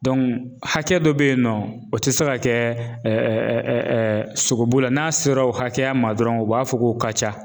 hakɛ dɔ beyinɔ o ti se ka kɛ sogobu la n'a sera o hakɛya ma dɔrɔn u b'a fɔ k'o ka ca.